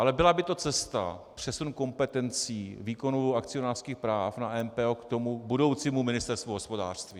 Ale byla by to cesta přesunu kompetencí výkonu akcionářských práv na MPO k tomu budoucímu Ministerstvu hospodářství.